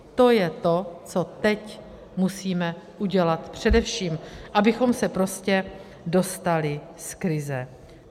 To je to, co teď musíme udělat především, abychom se prostě dostali z krize.